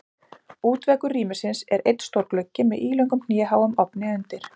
Útveggur rýmisins er einn stór gluggi með ílöngum hnéháum ofni undir.